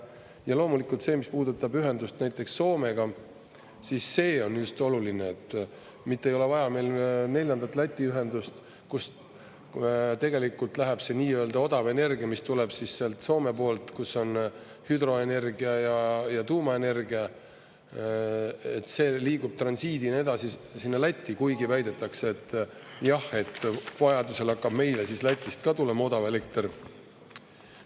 Ja loomulikult see, mis puudutab ühendust näiteks Soomega, siis see on just oluline, mitte ei ole vaja meil neljandat Läti ühendust, kus tegelikult läheb see nii-öelda odav energia, mis tuleb siis sealt Soome poolt, kus on hüdroenergia ja tuumaenergia, et see liigub transiidi ja nii edasi, sinna Lätti, kuigi väidetakse, et jah, et vajadusel hakkab meile Lätist ka tulema odav elekter.